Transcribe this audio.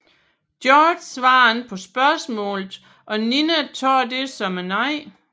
George svarer ikke på spørgsmålet og Nina tager det som et nej